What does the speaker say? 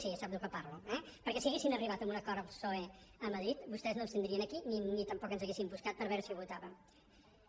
sap de què parlo perquè si haguessin arribat a un acord amb el psoe a madrid vostès no ens tindrien aquí ni tampoc ens haurien buscat per veure si ho votàvem